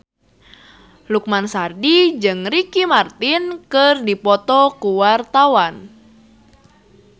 Lukman Sardi jeung Ricky Martin keur dipoto ku wartawan